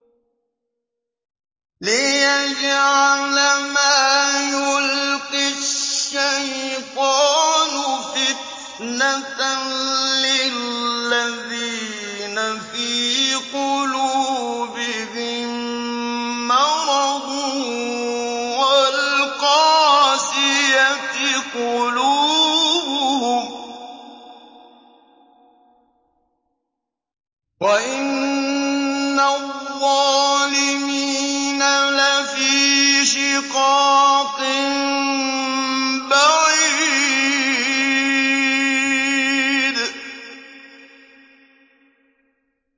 لِّيَجْعَلَ مَا يُلْقِي الشَّيْطَانُ فِتْنَةً لِّلَّذِينَ فِي قُلُوبِهِم مَّرَضٌ وَالْقَاسِيَةِ قُلُوبُهُمْ ۗ وَإِنَّ الظَّالِمِينَ لَفِي شِقَاقٍ بَعِيدٍ